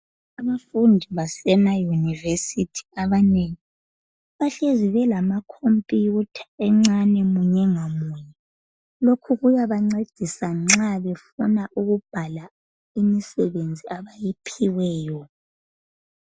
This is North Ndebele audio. Abafundi basemayunivesithi abanengi bahlezi belamakhompuyutha encane munye ngamunye. Lokhu kuyabancedisa nxa befuna ukubhala imisebenzi abayiphiweyo.